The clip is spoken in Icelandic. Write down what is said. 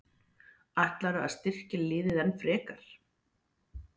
Ætlarðu að styrkja liðið enn frekar?